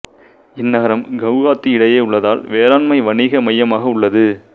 இந்நகரம் கவுகாத்தி இடையே உள்ளதால் வேளாண்மை வணிக மையமாக உள்ளது